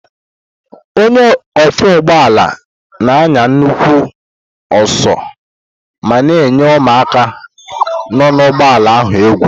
Onye ọkwọ ụgbọala na-anya nnukwu ọsọ ma na-eyi ụmụaka nọ na ụgbọala ahụ egwu.